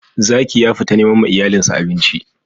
Zaki ya fita neman ma iyalin sa abinci.